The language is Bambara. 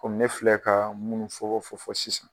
Komi ne filɛ ka minnu fɔ fɔfɔ sisan.